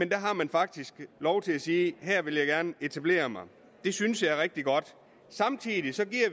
der har man faktisk lov til at sige her vil jeg gerne etablere mig det synes jeg er rigtig godt samtidig giver